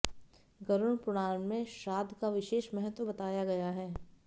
गरुड़ पुराण में श्राद्ध का विशेष महत्व बताया गया है